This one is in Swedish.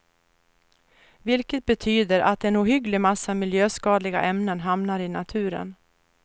Vilket betyder att en ohygglig massa miljöskadliga ämnen hamnar i naturen.